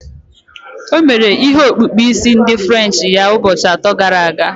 O mere ihe okpukpu isi ndi french ya ụbọchị atọ gara aga